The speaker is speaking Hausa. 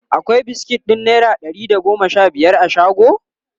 akwai biskit ɗin naira Dari da goma Sha biyar a shago?